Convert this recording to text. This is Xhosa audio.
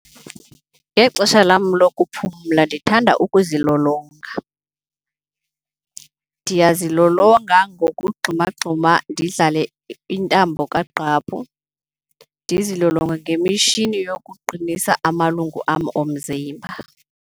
Ngexesha lam lokuphumla ndithanda ukuzilolonga. Ndiyazilolonga ngokugxumagxuma ndidlale intambo kagqaphu ndizilolonge ngemishini yokuqinisa amalungu am omzimba.